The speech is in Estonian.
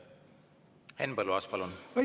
Henn Põlluaas, palun!